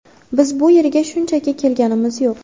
Biz bu yerga shunchaki kelganimiz yo‘q.